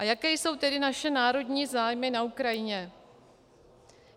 A jaké jsou tedy naše národní zájmy na Ukrajině.